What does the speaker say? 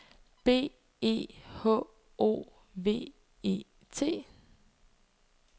B E H O V E T